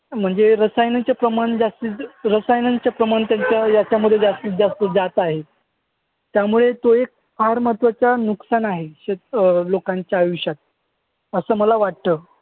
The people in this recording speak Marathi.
म्हणजे रसायनांचे प्रमाण रसायनांचे प्रमाण त्यांच्या याच्यामध्ये जास्तीतजास्त जात आहे. त्यामुळे ते फार महत्वाचा नुकसान आहे अं लोकांच्या आयुष्यात असं मला वाटतं.